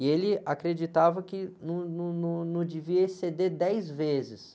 E ele acreditava que num, num, num, não devia exceder dez vezes.